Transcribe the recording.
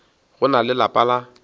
go na le lapa la